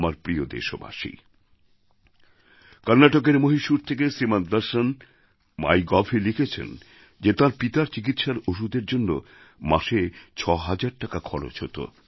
আমার প্রিয় দেশবাসী কর্ণাটকের মহীশূর থেকে শ্রীমান দর্শন মাই গভএ লিখেছেন যে তাঁর পিতার চিকিৎসার ওষুধের জন্য মাসে ছয় হাজার টাকা খরচ হত